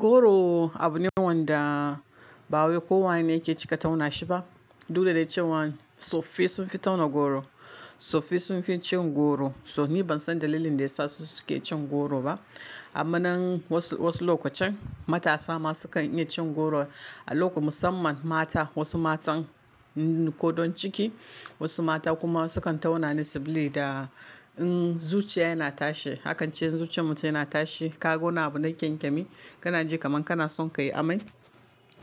Goro abu ne wanda ba wai ko wane yake cika tauna shi ba. Duk da dai cewan tsoffai sun fi tauna goro, tsoffai sun fi cin goro. So ni ban san dalilin da ya sa su suke cin goro ba. Amma nan wasu, wasu lokacin matasa ma su kan iya cin goro, a lokacin musamman mata, wasu matan kodan ciki, wasu mata kuma su kan tauna ne sabili da in zuciya yana tashi. Akan ce in zuciyan mutum yana tashi, ka ga wani abu na kyankyami, kana ji kaman kana son ka yi amai.